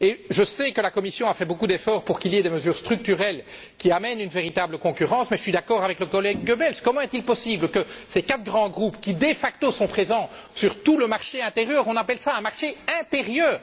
Je sais que la Commission a fait beaucoup d'efforts pour qu'il y ait des mesures structurelles qui amènent une véritable concurrence, mais je suis d'accord avec le collègue Goebbels comment est il possible que ces quatre grands groupes qui de facto sont présents sur tout le marché intérieur on appelle cela un marché intérieur!